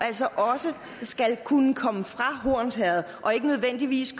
altså også skal kunne komme fra hornsherred og ikke nødvendigvis